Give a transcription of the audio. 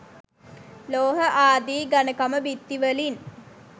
ලෝහ ආදී ඝණකම බිත්ති වලින්